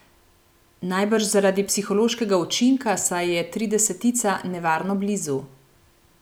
Najbrž zaradi psihološkega učinka, saj je tridesetica nevarno blizu ...